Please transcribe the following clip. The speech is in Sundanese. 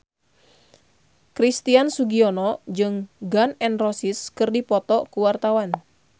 Christian Sugiono jeung Gun N Roses keur dipoto ku wartawan